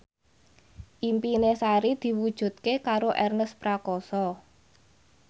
impine Sari diwujudke karo Ernest Prakasa